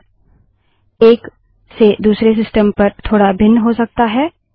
यह एक से दूसरे सिस्टम पर थोड़ा भिन्न हो सकता है